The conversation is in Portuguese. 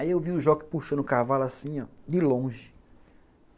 Aí eu vi o jockey puxando o cavalo assim, de longe.